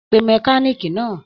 Pe mẹ̀kániikí náà.